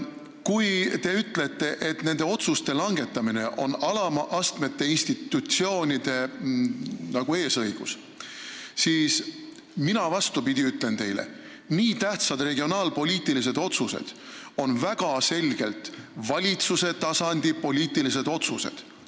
Kui te ütlete, et nende otsuste langetamine on alama astme institutsioonide eesõigus, siis mina, vastupidi, ütlen teile, et nii tähtsad regionaalpoliitilised otsused on väga selgelt valitsuse tasandi poliitilised otsused.